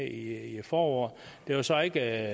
i foråret det er så ikke